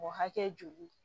O hakɛ joli